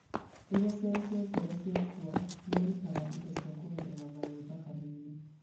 Rĩrĩa cero cia ngoro ciakua, nĩirutaga indo cia kuongerera mayũ thakame-inĩ